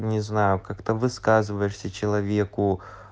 не знаю как-то высказываешься человеку